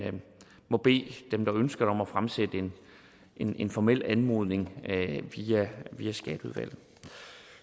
må bede dem der ønsker det om at fremsætte en en formel anmodning via skatteudvalget